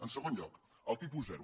en segon lloc el tipus zero